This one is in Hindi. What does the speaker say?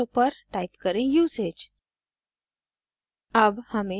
तीसरे arrow पर type करें usage